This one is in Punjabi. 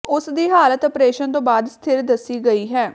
ਉਸ ਦੀ ਹਾਲਤ ਅ ਪ੍ਰੇ ਸ਼ ਨ ਤੋਂ ਬਾਅਦ ਸਥਿਰ ਦੱਸੀ ਗਈ ਹੈ